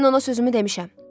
Mən ona sözümü demişəm.